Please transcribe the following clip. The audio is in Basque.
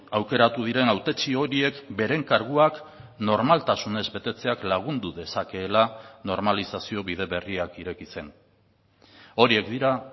aukeratu diren hautetsi horiek beren karguak normaltasunez betetzeak lagundu dezakeela normalizazio bide berriak irekitzen horiek dira